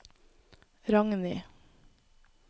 Ragni